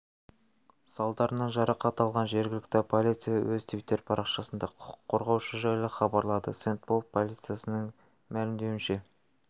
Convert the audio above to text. салдарынан жарақат алған жергілікті полиция өз твиттер парақшасында құқық қорғаушы жайлы хабаралады сент-пол полициясының мәлімдеуінше